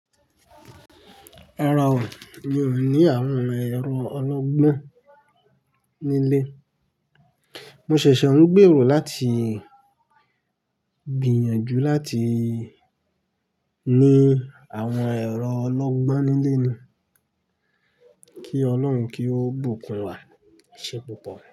Rárá o, mi ò ní àwọn ẹ̀rọ ọlọ́gbọ́n nílé. Mo ṣẹ̀ṣẹ̀ ń gbèrò láti gbìyànjú láti ní àwọn ẹ̀rọ ọlọ́gbọ́n nílé ni. Kí Ọlọ́run kí ó bùkún wà, Ṣé púpọ̀?